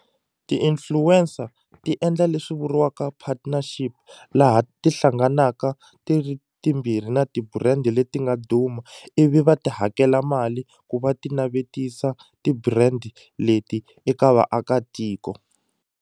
T-influencer ti endla leswi vuriwaka partnership laha ti hlanganaka ti ri timbirhi na ti-brand leti nga duma ivi va ti hakela mali ku va ti navetisa ti-brand leti eka vaakatiko.